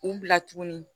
U bila tuguni